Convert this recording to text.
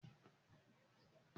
Ṣé ẹ̀wọ̀n pọ̀ ní Nàìjíríà?